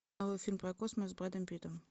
новый фильм про космос с брэдом питтом